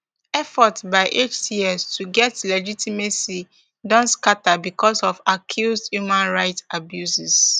efforts by hts to get legitimacy don scata bicos of accused human rights abuses